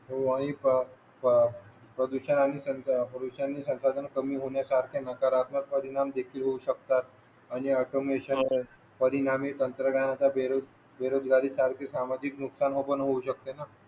हो आणि पॉल्युशन आणि संसाधने कमी होण्यासारखे नकारात्मक परिणाम देखील होऊ शकतात म्हणजे अर्थ परिणामी तंत्रज्ञानाचे बेरोजगारी सारखी सामाजिक नुकसान पण होऊ शकते ना